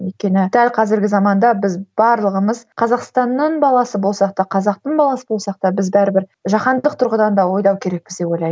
өйткені дәл қазіргі заманда біз барлығымыз қазақстанның баласы болсақ та қазақтың баласы болсақ та біз бәрібір жахандық тұрғыдан да ойлау керекпіз деп ойлаймын